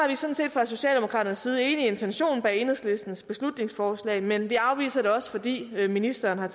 fra socialdemokraternes side enige i intentionen bag enhedslistens beslutningsforslag men vi afviser det også fordi ministeren har